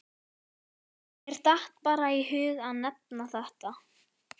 Mér datt bara í hug að nefna þetta.